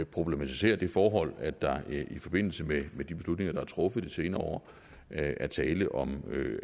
problematiserer det forhold at der i forbindelse med de beslutninger der er truffet i de senere år er tale om